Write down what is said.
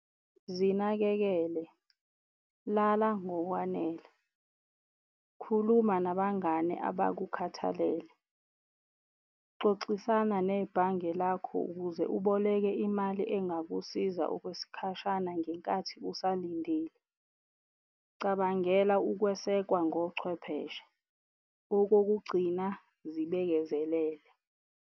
Zinakekele, lala ngokwanele, khuluma nabangani abakukhathalele, xoxisana nebhange lakho ukuze uboleke imali engakusiza okwesikhashana ngenkathi usalindile, cabangela ukwesekwa ngochwepheshe. Okokugcina, zibekezelele.